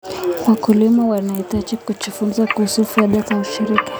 Wakulima wanahitaji kujifunza kuhusu faida za ushirika.